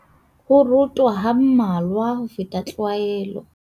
Ho rota ha mmalwa ho feta tlwaelo.